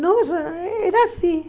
Nossa, era assim.